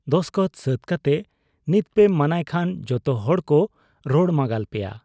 ᱫᱚᱥᱠᱚᱛ ᱥᱟᱹᱛ ᱠᱟᱛᱮ ᱱᱤᱛᱯᱮ ᱢᱟᱱᱟᱭ ᱠᱷᱟᱱ ᱡᱚᱛᱚᱦᱚᱲᱠᱚ ᱨᱚᱲ ᱢᱟᱸᱜᱟᱞ ᱯᱮᱭᱟ ᱾